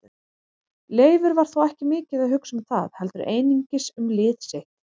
Leifur var þó ekki mikið að hugsa um það heldur einungis um lið sitt.